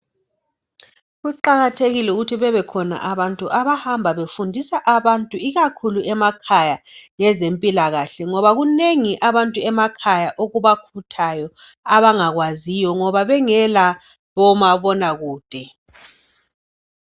Kuqakathekile ukuthi bebekhona abantu abahamba befundisa abantu ikakhulu emakhaya lwezempilakahle ngoba kunengi emakhaya abantu okubakhuthayo abangakwaziyo ngoba bengela omabona kude